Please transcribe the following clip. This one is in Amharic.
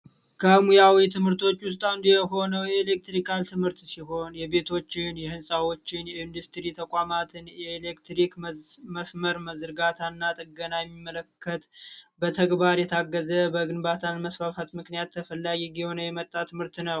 ከሙያዊ ትምህርቶች ውስጥ አንዱ የሆነው የኤሌክትሪካል ትምህርት ሲሆን የቤቶችን ፣የህንፃዎችን ፣የኢንዱስትሪዎችነ ፣የተቋማትን የኤሌክትሪክ መስመር መዘርጋት እና ጥገና ሚመለከት በተግባር የታገዘ በግንባታ መስፋፋት ምክንያት ተፈላጊ እየሆነ የመጣ ትምህርት ነው።